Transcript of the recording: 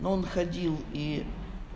но он ходил и